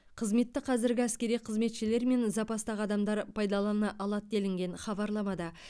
қызметті қазіргі әскери қызметшілер мен запастағы адамдар пайдалана алады делінген хабарламада